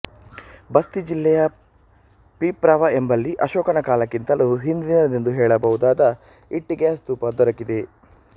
ಬಸ್ತಿ ಜಿಲ್ಲೆಯ ಪಿಪ್ರಾವ ಎಂಬಲ್ಲಿ ಅಶೋಕನ ಕಾಲಕ್ಕಿಂತಲೂ ಹಿಂದಿನದೆಂದು ಹೇಳಬಹುದಾದ ಇಟ್ಟಿಗೆಯ ಸ್ತೂಪ ದೊರಕಿದೆ